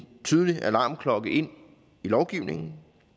tydelig alarmklokke ind i lovgivningen